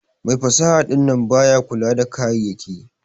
Mai fasaha dinnan baya kula da kayayaki.